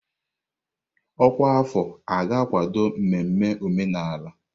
Ọkwa afọ a ga-akwado mmemme omenala?